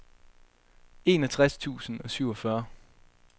enogtres tusind og syvogfyrre